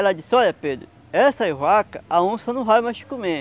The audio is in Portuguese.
Aí ela disse, olha Pedro, essas vacas a onça não vai mais comer.